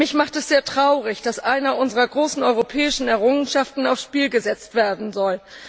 Mich macht es sehr traurig, dass eine unserer großen europäischen Errungenschaften aufs Spiel gesetzt werden soll.